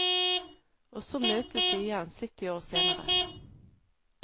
Og så møtes de igjen sytti år senere.